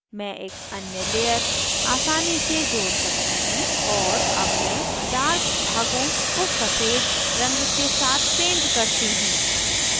मैं एक अन्य layer आसानी से जोड़ सकती हूँ और add मैं dark भागों को सफ़ेद रंग के साथ paint करती हूँ